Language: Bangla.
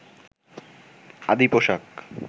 আদি পোশাক